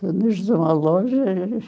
Donos de uma loja, e...